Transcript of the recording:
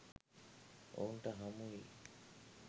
ඔවුන්ට හමුවිය